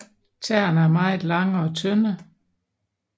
Tæerne er meget lange og tynde